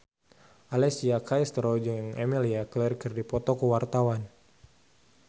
Alessia Cestaro jeung Emilia Clarke keur dipoto ku wartawan